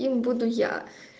им буду я